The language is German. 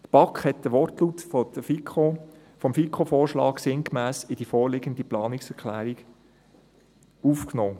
Die BaK hat den Wortlaut des FiKoVorschlags sinngemäss in die vorliegende Planungserklärung aufgenommen.